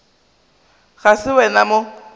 ga se wena o mo